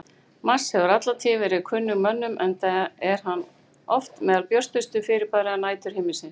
Mars hefur alla tíð verið kunnugur mönnum enda er hann oft meðal björtustu fyrirbæra næturhiminsins.